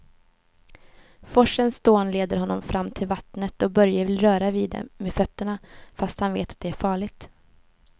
Forsens dån leder honom fram till vattnet och Börje vill röra vid det med fötterna, fast han vet att det är farligt.